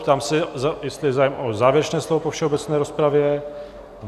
Ptám se, jestli je zájem o závěrečné slovo po všeobecné rozpravě?